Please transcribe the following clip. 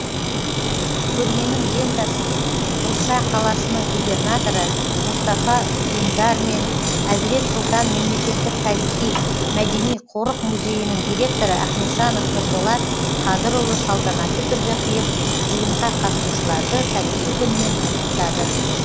көрменің лентасын бурса қаласының губернаторы мұстафа дүндар мен әзірет сұлтан мемлекеттік тарихи мәдени қорық музейінің директоры ахметжанов нұрболат қадырұлы салтанатты түрде қиып жиынға қатысушыларды тарихи күнмен құттықтады